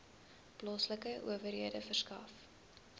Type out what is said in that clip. plaaslike owerhede verskaf